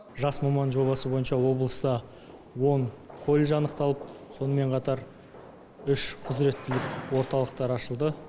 жас маман жобасы бойынша облыста он колледж анықталып сонымен қатар үш құзіреттілік орталықтары ашылды